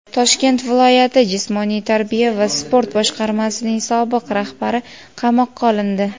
Toshkent viloyati jismoniy tarbiya va sport boshqarmasining sobiq rahbari qamoqqa olindi.